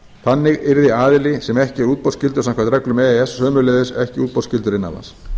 þannig yrði aðili sem ekki er útboðsskyldur samkvæmt reglum e e s sömuleiðis ekki útboðsskyldur innan lands